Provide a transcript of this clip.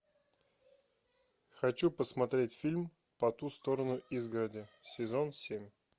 хочу посмотреть фильм по ту сторону изгороди сезон семь